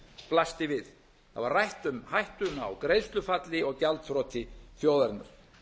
blasti við það var rætt um hættuna á greiðslufalli og gjaldþroti þjóðarinnar